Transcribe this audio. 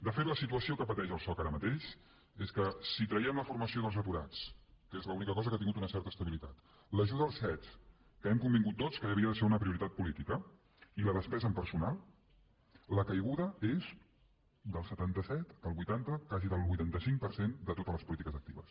de fet la situació que pateix el soc ara mateix és que si traiem la formació dels aturats que és l’única cosa que ha tingut una certa estabilitat l’ajuda als cet que hem convingut tots que havia de ser una prioritat política i la despesa en personal la caiguda és del setanta set del vuitanta quasi del vuitanta cinc per cent de totes les polítiques actives